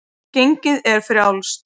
Gengið er frjálst.